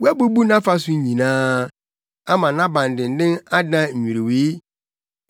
Woabubu nʼafasu nyinaa ama nʼabandennen adan nnwiriwii.